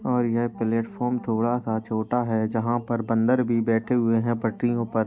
और यहां प्लेटफार्म थोड़ा सा छोटा है जहां पर बंदर भी बैठे हुए है पटरियों पर।